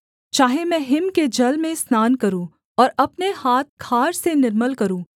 चाहे मैं हिम के जल में स्नान करूँ और अपने हाथ खार से निर्मल करूँ